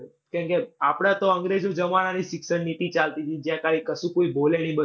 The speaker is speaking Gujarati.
કેમકે આપણે તો અંગ્રેજો જમાનાની શિક્ષણ નીતિ ચાલતી તી જ્યાં કાય કશું કોઈ બોલે નહીં બસ